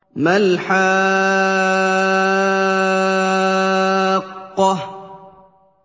مَا الْحَاقَّةُ